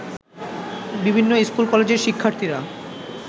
বিভিন্ন স্কুল-কলেজের শিক্ষার্থীরা